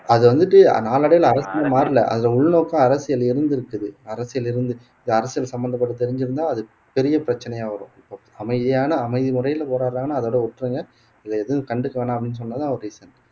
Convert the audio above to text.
அது வந்துட்டு நாளடைவுல அரசியல் மாறல அதுல உள்நோக்கம் அரசியல் இருந்து இருக்குது அரசியல் இருந்துச்சு இது அரசியல் சம்பந்தப்பட்டு தெரிஞ்சிருந்தா அது பெரிய பிரச்சனையா வரும் இப்போ அமைதியான அமைதி முறையில போராடுறாங்கன்னா அதோட விட்டிருங்க இத எதுவும் கண்டுக்க வேணாம் அப்படின்னு சொன்னதுதான் ஒரு reason